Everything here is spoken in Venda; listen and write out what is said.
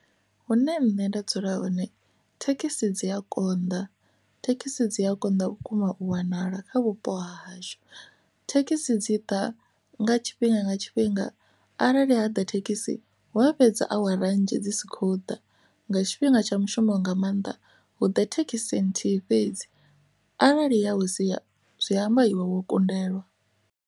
Hune nṋe nda dzula hone thekhisi dzi a konḓa thekhisi dzi a konḓa vhukuma u wanala kha vhupo hashu thekhisi dzi ḓa nga tshifhinga nga tshifhinga arali ha ḓa thekhisi hu a fhedza awara dzi si khou ḓa nga tshifhinga tsha mushumo nga maanḓa hu ḓa thekhisini nthihi fhedzi arali ya u si zwi amba iwe wo kundelwa.